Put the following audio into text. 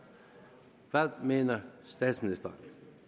hvad mener statsministeren